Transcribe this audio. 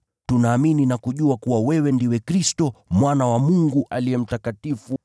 Tunaamini na kujua kuwa wewe ndiwe Aliye Mtakatifu wa Mungu.”